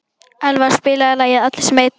Elva, spilaðu lagið „Allir sem einn“.